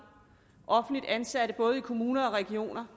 offentligt ansatte i både kommuner og regioner